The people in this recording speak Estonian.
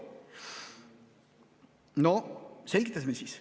No selgitame siis.